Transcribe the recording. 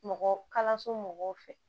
Mɔgɔ kalanso mɔgɔw fɛ